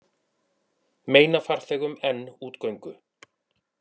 Meina farþegum enn útgöngu